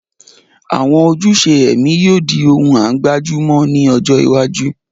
Àwọn ojúṣe ẹ̀mí yóò di ohun à ń gbájú mọ́ ní ọjọ́ iwájú